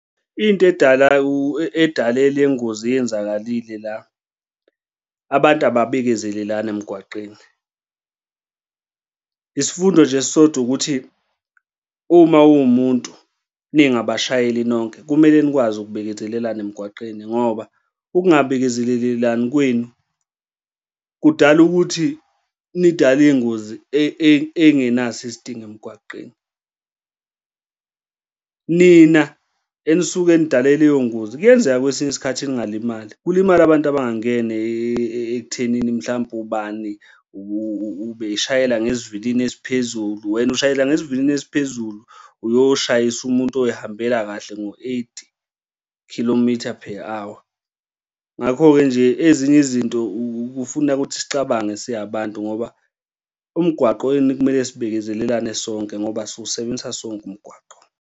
Into edala edale le ingozi eyenzakalile la, abantu ababekezelelani emgwaqeni. Isifundo nje esisodwa ukuthi uma uwumuntu ningabashayeli nonke kumele nikwazi ukubekezelelana emgwaqeni, ngoba ukungabekezelelani kwenu kudala ukuthi nidale iy'ngozi ey'ngenaso isidingo emgwaqeni. Nina enisuke nidale leyo ngoba kuyenzeka kwesinye isikhathi ningalimali, kulimale abantu abangangene ekuthenini mhlampe ubani ubeshayela ngesivinini esiphezulu, wena ushayela ngesivinini esiphezulu uyoshayisa umuntu oy'hambela kahle ngo-eight kilometer per hour. Ngakho-ke nje ezinye izinto kufuna ukuthi sicabange singabantu, ngoba emgwaqweni kumele sibekezelelane sonke, ngoba siwusebenzisa sonke umgwaqo.